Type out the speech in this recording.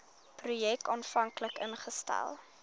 projek aanvanklik ingestel